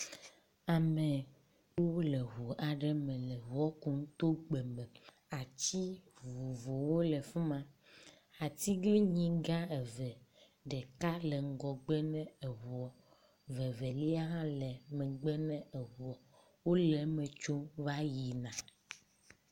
Amewo le ŋu aɖe me le ŋua kum to gbe me. Atsi vovovowo le fi ma. Atiglinyigã eve ɖeka le ŋgɔgbe ne eŋua vevelia hã le megbe ne eŋua wo le eme tsom va yi na.